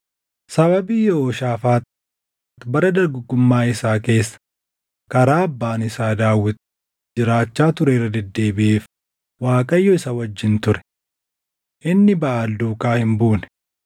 Sababii Yehooshaafaax bara dargaggummaa isaa keessa karaa abbaan isaa Daawit jiraachaa ture irra deddeebiʼeef Waaqayyo isa wajjin ture. Inni Baʼaal duukaa hin buune;